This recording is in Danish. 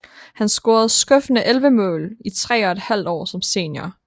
Han scorede skuffende 11 mål i tre og et halvt år som senior